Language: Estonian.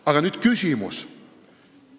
Aga nüüd küsimus.